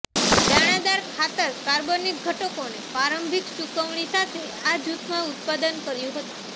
દાણાદાર ખાતર કાર્બનિક ઘટકોને પ્રારંભિક સૂકવણી સાથે આ જૂથમાં ઉત્પાદન કર્યું હતું